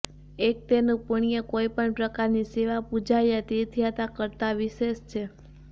અને તેનું પુણ્ય કોઇપણ પ્રકારની સેવાપૂજા યા તીર્થયાત્રા કરતાં વિશેષ છે